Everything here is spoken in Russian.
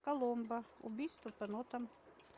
коломбо убийство по нотам